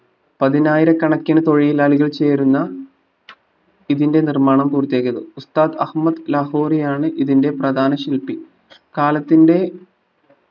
പതിനായിരക്കണക്കിന് തൊഴിലാളികൾ ചേരുന്ന ഇതിന്റെ നിർമാണം പൂർത്തിയാക്കിയത് ഉസ്താത് അഹമ്മദ് ലാഹോറിയാണ് ഇതിന്റെ പ്രധാന ശില്പി കാലത്തിന്റെ